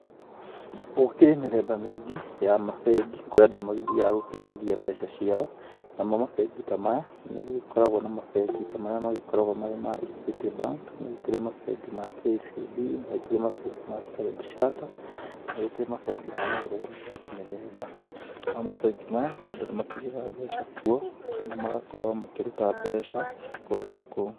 Gũkĩrĩ mĩthemba mĩingĩ ya mabengi kũrĩa andũ magĩthiaga gũkĩigithia mbeca ciao. Namo mabengi ta maya nĩ gũgĩkoragwo na mabengi ta marĩa makoragwo marĩ ma Equity bank nĩ kurĩ mabengi ma KCB na nĩ kũrĩ mabengi ma Starndard Chattered na nĩ gũkĩrĩ mabengi ma mĩhirĩga mĩthemba mĩthemba. Namo mabengi maya andũ nĩ makĩigaga mbeca kuo kana magakorwo makĩruta mbeca kũndũ ta kũu.